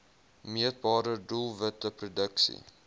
meetbare doelwitte produksie